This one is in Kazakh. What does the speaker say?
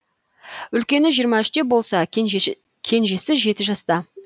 үлкені жиырма үште болса кенжесі жеті жаста